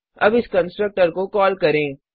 अब इस कंस्ट्रक्टर को कॉल करें